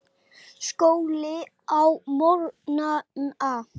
Skóli á morgnana.